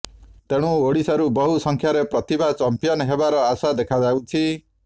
ତେଣୁ ଓଡ଼ିଶାରୁ ବହୁ ସଂଖ୍ୟାରେ ପ୍ରତିଭା ଚମ୍ପିଅନ୍ ହେବାର ଆଶା ଦେଖାଯାଉଛି